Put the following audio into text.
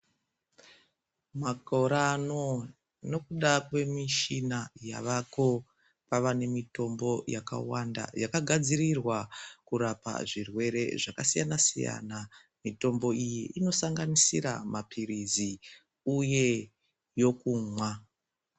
Makore ano nokuda kwe mishina yavako kwava ne mitombo yaka wanda yaka gadzirirwa kurapa zvirwere zvaka siyana siyana mitombo iyi ino sanganisira mapirizi uye yokumwa.